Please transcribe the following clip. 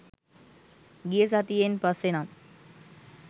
ගිය සතියෙන් පස්සේ නම්